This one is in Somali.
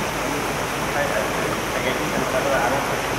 Xooluhu waxay caawiyaan hagaajinta nafaqada carruurta.